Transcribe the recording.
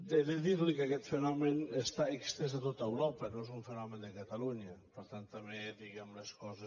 he de dir li que aquest fenomen està estès a tot europa no és un fenomen de catalunya per tant també diguem les coses